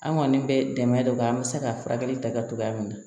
An kɔni bɛ dɛmɛ don an bɛ se ka furakɛli ta kɛ cogoya min na